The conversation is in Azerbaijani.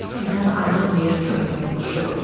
Sizdən ayrılmır könlümün quşu.